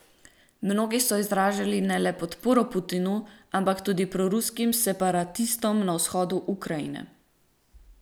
Mnogi so izražali ne le podporo Putinu, ampak tudi proruskim separatistom na vzhodu Ukrajine.